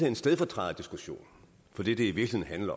en stedfortræderdiskussion for det det i virkeligheden